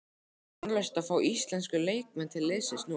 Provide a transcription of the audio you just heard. Er ekki vonlaust að fá íslenska leikmenn til liðsins núna?